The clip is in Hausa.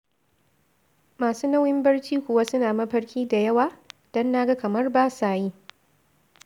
Masu nauyin barci kuwa suna mafarki da yawa? Don na ga kamar ba sa yi.